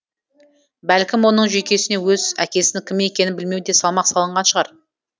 бәлкім оның жүйкесіне өз әкесінің кім екенін білмеу де салмақ салынған шығар